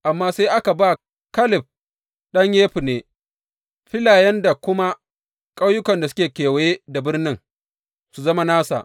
Amma sai aka ba Kaleb ɗan Yefunne filayen da kuma ƙauyukan da suke kewaye da birnin, su zama nasa.